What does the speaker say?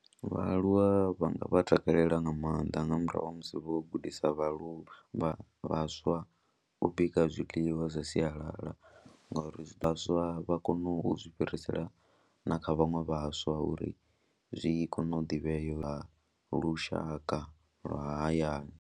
Vhaaluwa vha nga vha takalela nga maanḓa nga murahu ha musi vho gudisa vhaaluwa, vha vhaswa u bika zwiḽiwa zwa sialala ngori zwi vhaswa vha kone u zwi fhirisela na kha vhaṅwe vhaswa uri zwi kone u ḓivhea lwa lushaka lwa hayani.